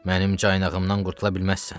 Mənim caynağımdan qurtula bilməzsən.